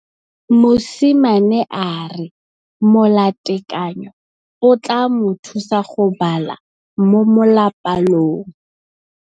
Mosimane a re molatekanyô o tla mo thusa go bala mo molapalong.